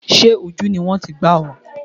Sé ojú ni wọ́n ti gbá ọ?